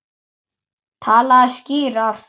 Talaðu skýrar.